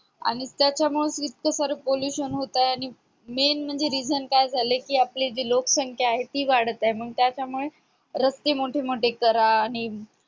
आणि त्याच्यामुळंच इतकं सार pollution होतय आणि main म्हणजे reason काय झालाय कि आपली जी लोकसंख्या आहे ती वाढत आहे मग त्याच्यामुळे रस्ते मोठे मोठे करा आणि